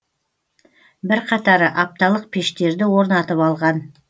бірқатары апталық пештерді орнатып алған